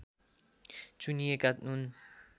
चुनिएका हुन्